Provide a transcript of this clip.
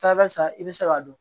Taa barisa i be se k'a dɔn